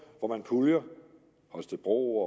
hvor man puljer holstebro